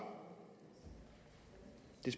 det